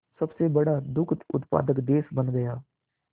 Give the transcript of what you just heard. सबसे बड़ा दुग्ध उत्पादक देश बन गया